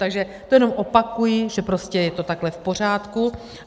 Takže to jenom opakuji, že prostě je to takhle v pořádku.